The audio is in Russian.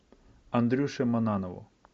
андрюше маннанову